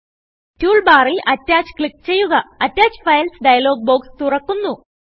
tool ബാറിൽ Attachക്ലിക്ക് ചെയ്യുകAttach Filesഡയലോഗ് ബോക്സ് തുറക്കുന്നു